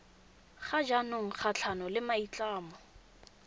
ga jaanong kgatlhanong le maitlhomo